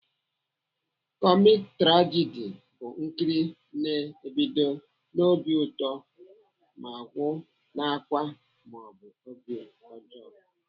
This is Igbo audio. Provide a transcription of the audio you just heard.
Komik-trajidi bụ nkiri na-ebido n'obi ụtọ ma gwụ n'ákwá maọbụ obi ọjọọ.